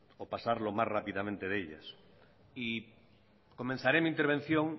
o pasar lo más rápidamente de ellas y comenzaré mi intervención